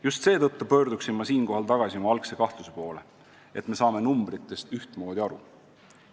Just seetõttu pöörduksin siinkohal tagasi oma algse kahtluse poole, kas me saame numbritest ühtmoodi aru.